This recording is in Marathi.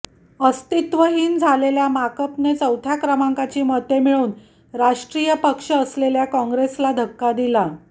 अस्तित्वहीन झालेल्या माकपने चौथ्या क्रमांकाची मते मिळवून राष्ट्रीय पक्ष असलेल्या काँग्रेसला धक्का दिला